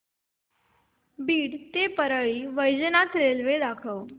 बीड ते परळी वैजनाथ रेल्वे दाखव